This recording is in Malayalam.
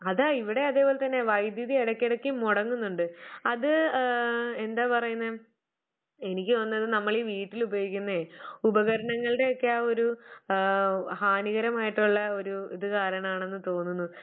അതാ ഇവിടേം അതേ പോലെ തന്നെയാ വൈദ്യുതി എടയ്ക്കടയ്ക്ക് മൊടങ്ങുന്നുണ്ട്. അത് ഏഹ് എന്താ പറയുന്നേ എനിക്ക് തോന്നുന്നത് നമ്മളി വീട്ടിൽ ഉപയോഗിക്കുന്നെ ഉപകരണങ്ങളുടെ യൊക്കെ ആ ഒരു ആഹ് ഹാനികരമായിട്ടുള്ള ഒരു ഇതുകാരണമാണന്ന് തോന്നുന്നു.